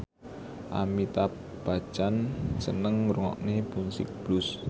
Amitabh Bachchan seneng ngrungokne musik blues